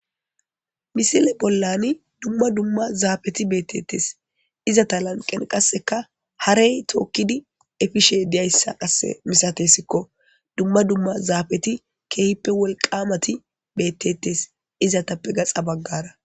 misile bollani dumma dumma zaafeti beettetes izata lanqen qasseka harey tookkidi efishe deyayssa qasse misatessikko dumma dumma zaafeti keehippe wolqamati bettetes izatappe gaxa baggara